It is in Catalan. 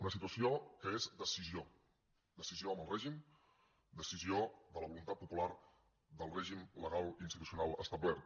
una situació que és decisió decisió amb el règim decisió de la voluntat popular del règim legal institucional establert